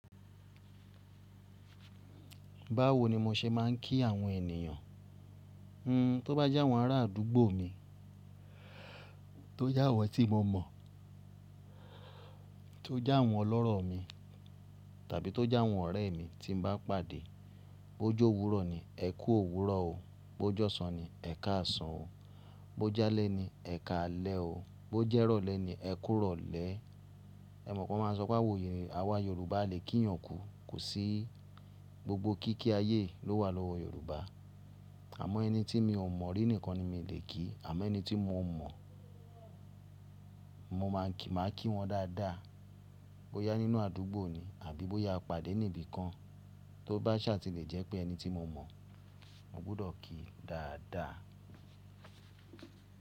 Báwo ni mo ṣe máa ń kí àwọn ènìyàn? Hmm, tó bá jẹ́ wọ́n ara àdúgbò mi, tó jẹ́ àwọn tí mo mọ̀, tó jẹ́ àwọn ọlọ́rọ̀ mi tàbí tó jẹ́ àwọn ọ̀rẹ́ mi tí mo bá pàdé, bó jọ́ òwúrọ̀ ni, ẹ kú òwúrọ̀ o. Bó jọ́sàn ni, ẹ ká àsàn o. Bó jálẹ́ ni, ẹ ká alẹ́ o. Bó jẹ́ rọ̀lẹ́ ni, ẹ kú rọ̀lẹ́. Ẹ mọ̀ pé wọ́n máa ń sọ pé àwa Yorùbá lè kí èèyàn kú, kò sí. Gbogbo kíkí ayé ló wà lọ́wọ́ Yorùbá. Àmọ́ ẹni tí mi ò mọ̀ rí nìkan ni mi lè kí àmọ́ ẹni tí mo mọ̀, mo máa ń kí wọn dáadáa. Bó yá nínú àdúgbò ni àbí bó yá pàdé níbi kan tó bá ṣá ti lè jẹ́ pé ẹni tí mo mọ̀, mo gbọ́dọ̀ kí dáadáa.